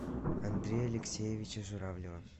андрея алексеевича журавлева